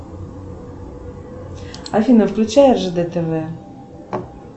афина включай ржд тв